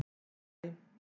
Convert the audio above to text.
Hæ hæ